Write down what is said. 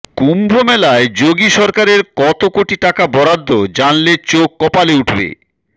কুম্ভমেলায় যোগী সরকারের কত কোটি টাকা বরাদ্দ জানলে চোখ কপালে উঠবে